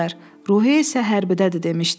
Ruhiyyə isə hərbidədir demişdi.